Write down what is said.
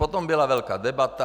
Potom byla velká debata.